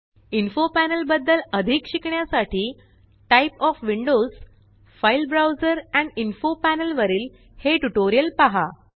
info panel बद्दल अधिक शिकण्यासाठी type of windows file browser and info panel वरील हे ट्यूटोरियल पहा